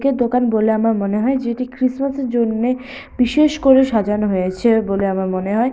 একে দোকান বলে আমার মনে হয় যেটি ক্রিসমাস -এর জন্যে বিশেষ করে সাজানো হয়েছে বলে আমার মনে হয়।